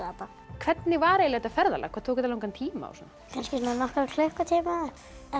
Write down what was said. hvernig var þetta ferðalag hvað tók þetta langan tíma kannski svona nokkra klukkutíma